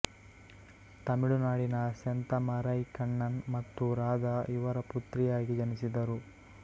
ತಮಿಳುನಾಡಿನ ಸೆಂತಮಾರೈ ಕಣ್ಣನ್ ಮತ್ತು ರಾಧಾ ಇವರ ಪುತ್ರಿಯಾಗಿ ಜನಿಸಿದರು